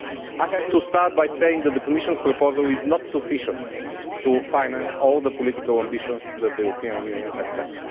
I must begin by saying that the Commission's proposal is not sufficient to finance all the political ambitions that the European Union has set.